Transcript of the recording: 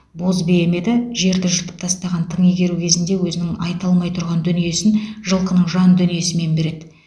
боз бие ме еді жерді жыртып тастаған тың игеру кезінде өзінің айта алмай тұрған дүниесін жылқының жан дүниесімен береді